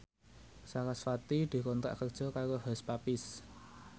sarasvati dikontrak kerja karo Hush Puppies